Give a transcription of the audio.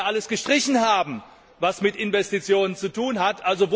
Sie wollten ja alles gestrichen haben, was mit Investitionen zu tun hat.